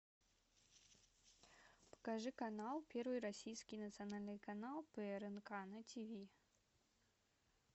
покажи канал первый российский национальный канал прнк на тв